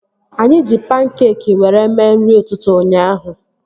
Anyị ji pankeekị were mee nri ụtụtụ ụnyaahụ